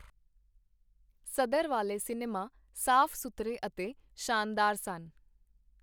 ਸਦਰ ਵਾਲੇ ਸਿਨੇਮੇ ਸਾਫ ਸੁਥਰੇ ਅਤੇ ਸ਼ਾਨਦਾਰ ਸਨ.